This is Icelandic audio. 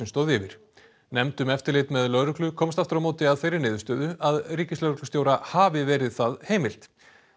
stóð yfir nefnd um eftirlit með lögreglu komst aftur á móti að þeirri niðurstöðu að ríkislögreglustjóra hafi verið það heimilt